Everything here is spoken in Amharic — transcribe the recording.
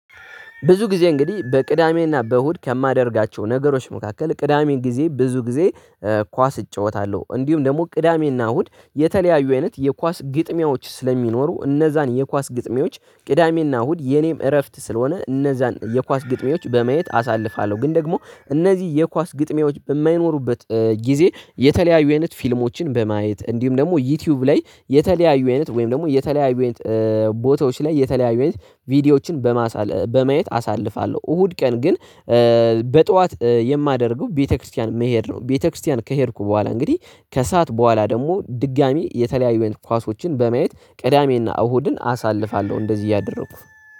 ብዙ ጊዜ እንግዲህ በቅዳሜና በእሁድ ከማደርጋቸው ነገሮች መካከል ቅዳሜን ጊዜ ብዙ ጊዜ። ኳስ እጫወታለሁ እንዲሁም ደግሞ ቅዳሜና እሁድ የተለያዩ አይነት የኳስ ግጥሚያዎች ስለሚኖሩ እነዛን የኳስ ግጥሚያዎች ቅዳሜና እሁድ የኔም እረፍት ስለሆነ እነዛን የኳስ ግጥሜዎች በመየት አሳልፋለሁ። ግን ደግሞ እነዚህ የኳስ ግጥሚያዎች በማይኖሩበት ጊዜ የተለያዩ አይነት ፊልሞችን በማየት እንዲሁም ደግሞ ዩቲዩብ ላይ የተለያዩ አይነት ወይም ደግሞ የተለያዩ አይነት ቦታዎች ላይ የተለያዩ አይነት ቪዲዮዎችን በማሳል በማየት አሳልፋለሁ። እሁድ ቀን ግን በጧት የማደርገው ቤተክርስቲያን መሄድ ነው። ቤተክርስቲያን ከሄድኩ በኋላ እንግዲህ ከሰአት በኋላ ደግሞ ድጋሚ የተለያዩ ኳሶችን በማየት ቅዳሜና እሁድን አሳልፋለሁ። እንደዚህ እያደረኩ